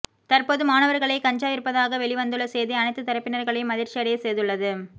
தற்போது மாணவர்களே கஞ்சா விற்பதாக வெளிவந்துள்ள செய்தி அனைத்து தரப்பினர்களையும் அதிர்ச்சி அடைய செய்துள்ளது